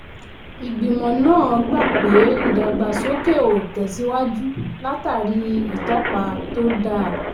ìgbìmọ̀ náà gbà pé ìdàgbàsókè ó tẹ̀síwájú látàrí ìtọ́pa tó dáa.